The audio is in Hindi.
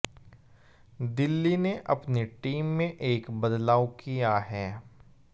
दिल्ली ने अपनी टीम में एक बदलाव किया है